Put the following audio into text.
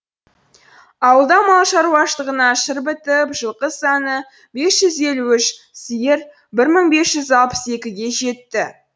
ауылда мал шаруашылығына шыр бітіп жылқы саны бес жүз елу үш сиыр бір мың бес жүз алпыс екіге жетті